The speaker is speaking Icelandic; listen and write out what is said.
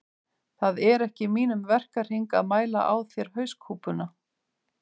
Það er ekki í mínum verkahring að mæla á þér hauskúpuna